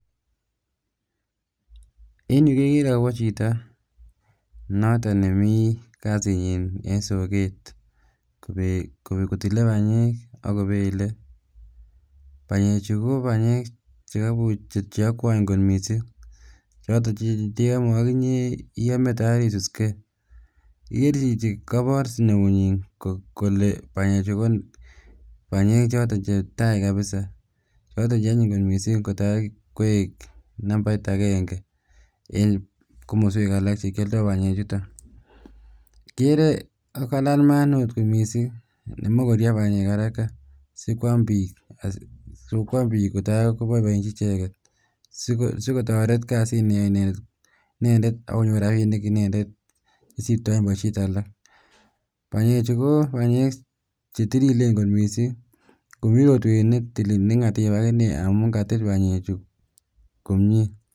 En yuu kekeree akobo chito noton nemii kasinyin en sokeet kotile banyeek akoo belee, banyechu ko banyeek cheokwoe kot mising choton chendeome okinyee iyomee toor isuskee, ikeree chichii kobor neunyin kolee banyechu ko banyeek choton chetai kabisaa choton cheonyiny kot mising kotakoik nambait akeng'e en komoswek alak chekioldo banyechuton, ikeree kokalal maat neoo kot mising neimuch koruryo banyeek haraka sikwaam biik kotaa koboiboenchi icheket sikotoret kasit neyoe inendet akonyor rabinik inendet nesiptoen boishet alak, banyechu ko banyeek chetililen kot mising komii rotwet akinee neng'atib kot mising amun katil banyechu komnyee.